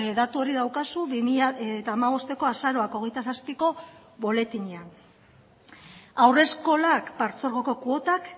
datu hori daukazu bi mila hamabosteko azaroak hogeita zazpiko boletinean haurreskolak partzuergoko kuotak